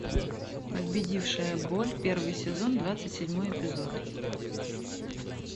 победившая боль первый сезон двадцать седьмой эпизод